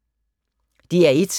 DR1